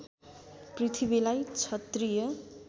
पृथ्वीलाई क्षत्रिय